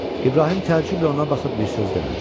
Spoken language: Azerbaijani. İbrahim təəccüblə ona baxıb bir söz demədi.